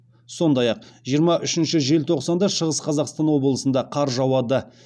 сондай ақ жиырма үшінші желтоқсанда шығыс қазақстан облысында қар жауады